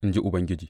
in ji Ubangiji.